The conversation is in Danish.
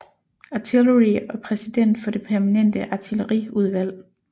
Artillery og præsident for det permanente artilleri udvalg